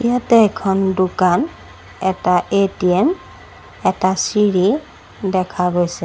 ইয়াতে এখন দোকান এটা এ_টি_এম এটা চিৰি দেখা গৈছে।